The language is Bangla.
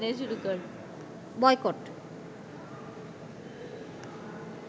বয়কট